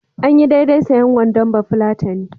Anyi daidai sayen wandon bafulatani.